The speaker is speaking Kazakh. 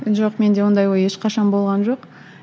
жоқ менде ондай ой ешқашан болған жоқ